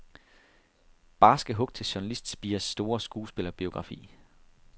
Barske hug til journalistspirers store skuespillerbiografi.